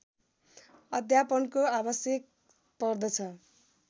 अध्यापनको आवश्यक पर्दछ